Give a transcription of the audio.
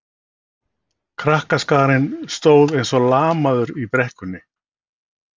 Krakkaskarinn stóð eins og lamaður í brekkunni.